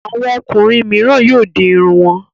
Àwọn ọkùnrin mìíràn yóò di irun wọn.